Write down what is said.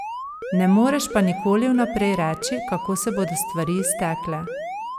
Ne moreš pa nikoli vnaprej reči, kako se bodo stvari iztekle.